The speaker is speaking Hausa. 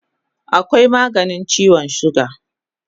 Akwai maganin chiwon suga